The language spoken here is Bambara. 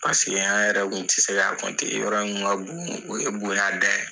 Paseke an yɛrɛ tun tɛ se k'a yɔrɔ in kun ka bon, o ye bonya dan ye!